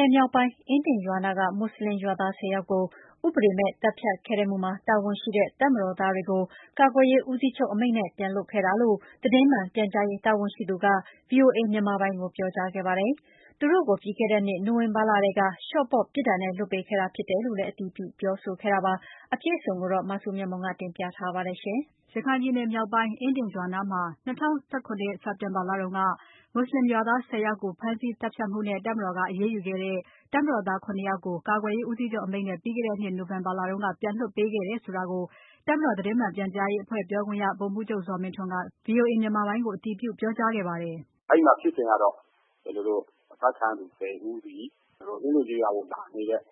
နယ်မြောက်ပိုင်း အင်းဒင်ရွာနားက မွတ်ဆလင်ရွာသား ၁၀ ယောက်ကို ဥပဒေမဲ့ သတ်ဖြတ်ခဲ့မှုမှာတာဝန်ရှိတဲ့ တပ်မတော်သားတွေကို ကာကွယ်ရေးဦးစီးချုပ် အမိန့်နဲ့ ပြန်လွှတ်ခဲ့တာလို့ သတင်းမှန်ပြန်ကြားရေးတာဝန်ရှိသူက VOA မြန်မာပိုင်းကို ပြောကြားခဲ့ပါတယ်။ သူတို့ကို ပြီးခဲ့တဲ့နှစ် နိုဝင်ဘာလထဲက လျှော့ပေါ့ပြစ်ဒဏ်နဲ့ လွှတ်ပေးခဲ့တာဖြစ်တယ်လို့ အတည်ပြုပြောခဲ့တာပါ။ အပြည့်အစုံကို မစုမြတ်မွန်က တင်ပြပါမယ်။ ရခိုင်ပြည်နယ်မြောက်ပိုင်း အင်းဒင်ရွာနားမှာ ၂၀၁၇ စက်တင်ဘာလတုန်းက မွတ်ဆလင်ရွာသား ၁၀ ယောက်ကို ဖမ်းဆီးသတ်ဖြတ်မှုနဲ့ တပ်မတော်က အရေးယူခဲ့တဲ့ တပ်မတော်သား ၇ ယောက်ကို ကာကွယ်ရေးဦးစီးချုပ် အမိန့်နဲ့ ပြီးခဲ့တဲ့နှစ် နိုဝင်ဘာလက ပြန်လွှတ်ပေးခဲ့တယ် ဆိုတာကို တပ်မတော်သတင်းမှန် ပြန်ကြားအဖွဲ့ပြောခွင့်ရ ဗိုလ်မှူးချုပ် ဇော်မင်းထွန်းက VOA မြန်မာပိုင်းကို အတည်ပြုပြောကြားခဲ့ပါတယ်။ “အဲဒီမှာ ဖြစ်စဉ်ကတော့ အဖမ်းခံရတဲ့ ၁၀ ဦးသည် အင်းဒင်ကျေးရွာကိုလာတဲ့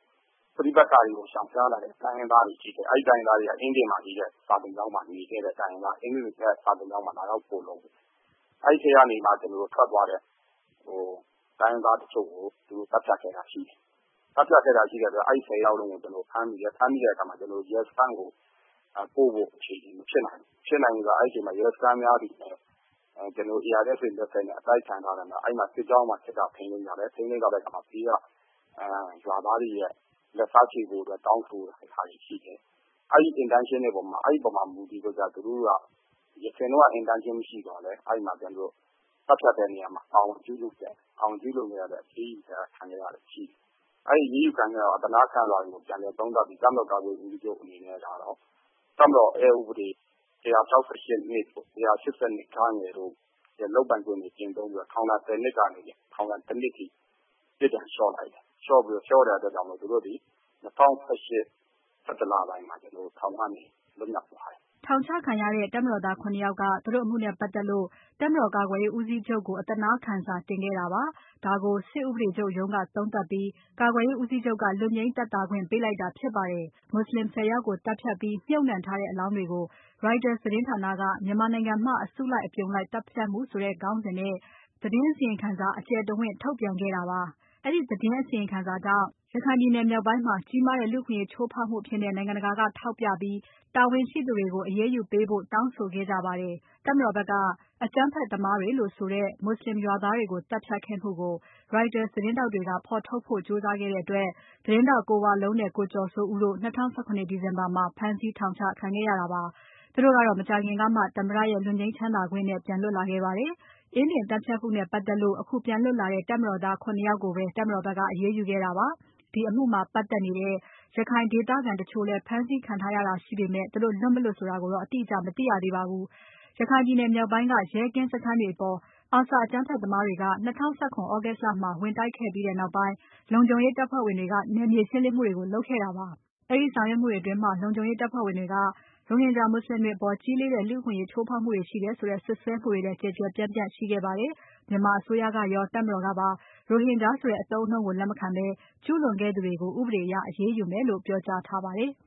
ပဋိပက္ခတွေကို ရှောင်ရှားလာတဲ့ တိုင်းရင်းသားတွေဖြစ်တယ်။ အဲဒီ တိုင်းရင်းသားတွေက အင်းဒင်က စာသင်ကျောင်းမှာ နေခဲ့တဲ့ တိုင်းရင်းသားတွေ၊ အင်းဒင်စာသင်ကျောင်းမှာ လာရောက်ခိုလုံတဲ့ သူတွေ။ အဲဒီထဲကနေမှ ထွက်သွားတဲ့ တိုင်းရင်းသားတချို့ကို သူတို့ သတ်ဖြတ်ခဲ့တာရှိတယ်။ အဲဒီလိုရှိတဲ့အတွက် အဲဒီ ၁၀ ယောက်ကိုဖမ်းတယ်။ ဖမ်းမိတဲ့အခါမှာ ကျနော်တို့ ရဲစခန်းကို ပို့ဖို့အခြေအနေမဖြစ်နိုင်ဘူး။ မဖြစ်လာဘူးဆိုတာက အဲဒီမှာ ရဲစခန်းတွေကလည်း ARSA လက်ချက်နဲ့ တိုက်ခိုက်ခံထားရတယ်။ အဲဒီမှာ စစ်ကြောင်းကနေပြီးတော့ စစ်တပ်က ထိန်းသိမ်းထားတယ် ။ ထိန်းသိမ်းထားတဲ့အခါမှာ ဒီက ရွာသားတွေက လက်စားချေဖို့အတွက် တောင်းဆိုတာတွေရှိတယ်။ အဲဒီ Intention တွေပေါ်မှာ သူတို့မူတည်ပြီးတော့ ၊ ယခင်တုန်းက Intention မရှိသော်လည်း သတ်ဖြတ်တဲ့နေရာမှာ ပါဝင်ကျူးလွန်ခဲ့တယ် အဲဒီအတွက် အရေးယူခံရတာရှိတယ်။ အဲဒီအရေးယူခံခဲ့ရတာကို အသနားခံစာတင် ပြန်လည်သုံးသပ်ပြီး တပ်မတော်ကာကွယ်ရေး ဦးစီးချုပ်အနေနဲ့ကနေ တပ်မတော် အက်ဥပဒေ ၁၆၈(၂)၊ ၁၈၂ (ဂ) တို့ လုပ်ပိုင်ခွင့်တွေကျင့်သုံးပြီးတော့ ထောင်ဒဏ် ၁၀ နှစ်ကနေ ထောင်ဒဏ် ၁ နှစ်အထိ ပြစ်ဒဏ်လျှော့လိုက်တယ်။ လျော့တဲ့အတွက်ကြောင့် သူတို့သည် ၂၀၁၈ ၊ ၁၁ လပိုင်းမှာ ထောင်ကနေ လွတ်မြောက်သွားတယ်။” ထောင်ချခံရတဲ့ တပ်မတော်သား ၇ ယောက်က သူတို့အမှုနဲ့ပတ်သက်လို့ တပ်မတော်ကာကွယ်ရေးဦးစီးချုပ်ကို အသနားခံစာတင်ခဲ့တာပါ။ ဒါကို စစ်ဥပဒေချုပ်ရုံးက သုံးသပ်ပြီး ကာကွယ်ရေးဦးစီချုပ်က လွတ်ငြိမ်းသက်သာခွင့်ပေးလိုက်တာဖြစ်ပါတယ်။ မွတ်ဆလင် ၁၀ ယောက်ကိုသတ်ဖြတ်ပြီး မြှပ်နှံထားတဲ့အလောင်းတွေကို Reuters သတင်းဌာနက "မြန်မာနိုင်ငံမှ အစုလိုက်အပြုံလိုက်သတ်ဖြတ်မှု” ဆိုတဲ့ခေါင်းစဉ်နဲ့ ဓါတ်ပုံ အထောက်အထားတွေနဲ့ သတင်းအစီရင်ခံစာ အကျယ်တဝင့် ထုတ်ပြန်ခဲ့တာပါ။ ဒီအစီရင်စာထွက်လာပြီးနောက်ရခိုင်ပြည်နယ်မြောက်ပိုင်းမှာ ကြီးမားတဲ့ လူ့အခွင့်အရေးချိုးဖောက်မှုအဖြစ် နိုင်ငံတကာက ထောက်ပြပြီး တာဝန်ရှိသူတွေကို အရေးယူပေးဖို့ တောင်းဆိုခဲ့ကြပါတယ်။ တပ်မတော်ဘက်က အကြမ်းဖက်သမားတွေလို့ဆိုတဲ့ မွတ်ဆလင်ရွာသားတွေကို သတ်ဖြတ်ခဲ့မှုကို Reuters သတင်းထောက်တွေက ဖော်ထုတ်ဖို့ ကြိုးစားခဲ့တဲ့အတွက် သတင်းထောက် ကိုဝလုံးနဲ့ ကိုကျော်စိုးဦးတို့ ၂၀၁၇ ဒီဇင်ဘာမှာ ဖမ်းဆီးထောင်ချခံခဲ့ရတာပါ။ သူတို့ကတော့ မကြာခင်ကမှ သမ္မတရဲ့ လွတ်ငြိမ်းချမ်းသာခွင့်နဲ့ ပြန်လွတ်လာခဲ့ပါတယ်။ အင်းဒင်သတ်ဖြတ်မှုနဲ့ပတ်သက်လို့ အခုပြန်လွတ်ခဲ့တဲ့ တပ်မတော်သား ၇ ယောက်ကိုပဲ တပ်မတော်ဖက်က အရေးယူခဲ့တာပါ။ ဒီအမှုမှာပတ်သက်နေတဲ့ ရခိုင်ဒေသခံတချို့လည်း ဖမ်းဆီးခံရတာရှိခဲ့ပေမဲ့ သူတို့လွတ် မလွတ်ဆိုတာကိုတော့ အတိအကျ မသိရသေးပါဘူး။ ရခိုင်ပြည်နယ်မြောက်ပိုင်းက ရဲကင်းစခန်းတွေအပေါ် ARSA အကြမ်းဖက်သမားတွေ ၂၀၁၇ သြဂုတ်လမှာ ဝင်တိုက်ခဲ့ပြီးနောက်ပိုင်း လုံခြုံရေးတပ်ဖွဲ့ဝင်တွေက နယ်မြေ ရှင်းလင်းမှုတွေကို လုပ်ခဲ့တာပါ။ အဲဒီဆောင်ရွက်မှုတွေအတွင်း လုံခြုံရေးတပ်ဖွ့ဲဝင်တွေက ရိုဟင်ဂျာမွတ်ဆလင်တွေအပေါ်ကြီးလေးတဲ့ လူ့အခွင့်အရေး ချိုးဖောက်မှုတွေရှိခဲ့တယ် ဆိုတဲ့ စွပ်စွဲမှုတွေလည်း ကျယ်ကျယ်ပြန့်ပြန့်ရှိခဲ့ပါတယ်။ မြန်မာအစိုးရကရော တပ်မတော်ကပါ ရိုဟင်ဂျာဆိုတဲ့ အသုံးအနှုန်းကို လက်မခံဘဲ ကျူးလွန်ခဲ့သူတွေကို ဥပဒေအရ အရေးယူမယ်လို့ ပြောကြားထားပါတယ်။